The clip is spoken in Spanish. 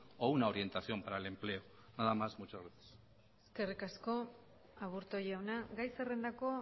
o una orientación para el empleo nada más muchas gracias eskerrik asko aburto jauna gai zerrendako